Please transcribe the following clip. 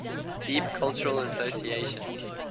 deep cultural association